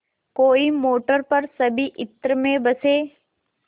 कोई मोटर पर सभी इत्र में बसे